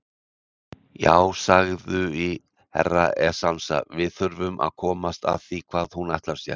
Já, sagðui Herra Enzana, við þurfum að komast að því hvað hún ætlar sér.